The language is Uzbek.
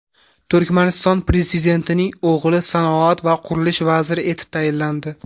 Turkmaniston prezidentining o‘g‘li sanoat va qurilish vaziri etib tayinlandi.